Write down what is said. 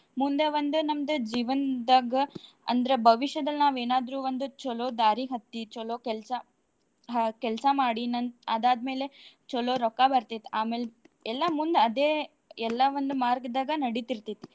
ಮುಂದೇ ಒಂದು ಜೀವನ್ದಾಗ ಅಂದ್ರ ಭವಿಷ್ಯದಲ್ ನಾವೇನಾದ್ರೂ ಒಂದು ಚಲೋ ದಾರಿ ಹತ್ತಿ ಚಲೋ ಕೆಲ್ಸಾ ಹಾ ಕೆಲ್ಸಾ ಮಾಡಿ ನಂ~ ಅದಾದ್ ಮೇಲೆ ಚಲೋ ರೊಕ್ಕಾ ಬಾರ್ತೆೇತ್ ಆಮೇಲೆ ಎಲ್ಲಾ ಮುಂದ್ ಅದೆ ಎಲ್ಲ ಒಂದ್ ಮಾರ್ಗದಾಗ ನಡೀತಿರ್ತೈತಿ.